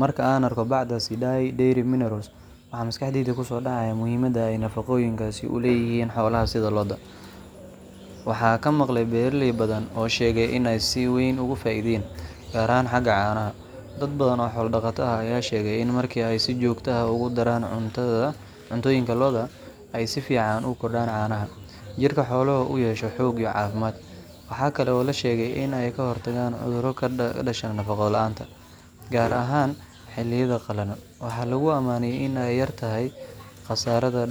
Marka aan arko bacda Sidai Dairy Minerals ,waxa maskaxdayda ku soo dhacaya muhiimadda ay nafaqooyinkaasi u leeyihiin xoolaha sida lo’da. Waxaan ka maqlay beeraley badan oo sheegay in ay si weyn ugu faa’iideen, gaar ahaan xagga caanaha. Dad badan oo xoolo dhaqato ah ayaa sheegay in marka ay si joogto ah ugu daraan cuntooyinka lo’dooda, ay si fiican u kordhaan caanaha, jirka xooluhuna uu yeesho xoog iyo caafimaad. Waxaa kale oo la sheegay in ay ka hortagaan cudurro ka dhasha nafaqo la’aanta, gaar ahaan xilliyada qalalan. Waxaa lagu ammaanay in ay yartahay khasaarada